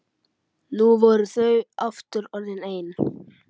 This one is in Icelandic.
Nú voru þau aftur orðin ein.